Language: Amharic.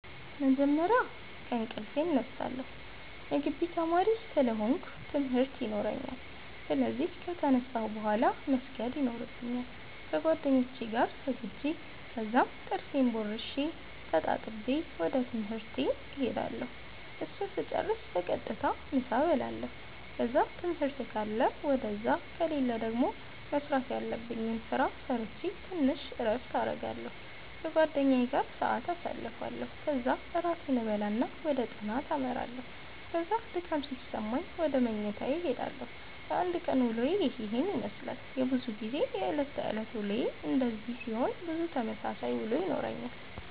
በመጀመርያ ከእንቅልፌ እነሳለሁ የጊቢ ተማሪ ስለ ሆነኩ ትምርት የኖራኛል ስለዚህ ከተነሳሁ ቡሃላ መስገድ የኖርብኛል ከጌደኛዬ ጋር ሰግጄ ከዛም ጥርሴን ቦርሼ ተጣጥቤ ወደ ትምህርት እሄዳለሁ እሱን ስጨርስ በቀጥታ ምሳ እበላለሁ ከዛ ትምህርት ካለ ውደዛ ከሌለ ደገሞ መስራተ ያለብኝን ስራ ሰረቼ ተንሽ እረፍት አረጋለሁ ከጓደኛዬ ጋር ሰአት ኣሳልፋለሁ ከዛ እራቴን እበላና ወደ ጥናተ አመራለሁ ከዛ ድካም ሲሰማኝ ውደ መኝታዬ እሄዳለሁ። የአንድ ቀን ዉሎዬ የሄን የመስላል። በዙ ጊዜ የእለት ተእለት ዉሎዬ እንደዚህ ሲሆን ብዙ ተመሳሳይ ዉሎ ይኖረኛል።